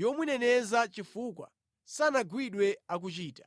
yomuneneza chifukwa sanagwidwe akuchita),